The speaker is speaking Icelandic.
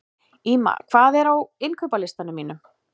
Ýma, hvað er á innkaupalistanum mínum?